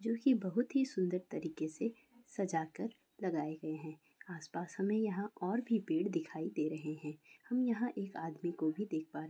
जोकि बहुत ही सुंदर तरीके से सजाकर लगाए गए हैं। आसपास हमे यहाँ और भी पेड़ दिखाई दे रहे हैं। हम यहाँ एक आदमी को भी देख पा रहे--